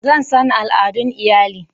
Zan san al'adun iyalin.